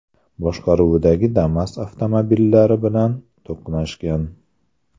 boshqaruvidagi Damas avtomobillari bilan to‘qnashgan.